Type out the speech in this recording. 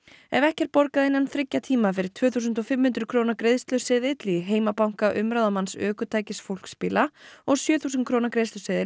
ef ekki er borgað innan þriggja tíma fer tvö þúsund og fimm hundruð króna greiðsluseðill í heimabanka umráðamanns ökutækis fólksbíla og sjö þúsund króna greiðsluseðill